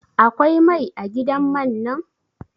Akwai mai a gidan man nan?